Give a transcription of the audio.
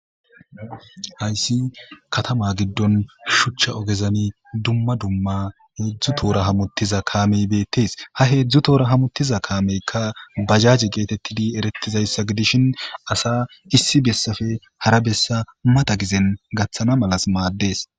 Hayssi katama giddon shuchcha ogezami dumma dumma heedzdzu toora hamuttiza kaamey beettes ha heedzdzu toora hamuttiza kaameyka bajaje geetettidi erettizayssa gidishin asa issi bessafe hara bessa mata gizen gaththana malas maaddees.